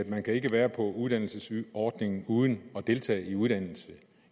man kan ikke være på uddannelsesordningen uden at deltage i uddannelse